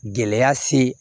Gɛlɛya se